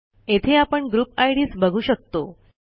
येथे आपण group IDs बघू शकतो